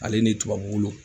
Ale ni tubabu